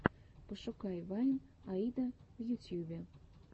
пошукай вайн аида в ютьюбе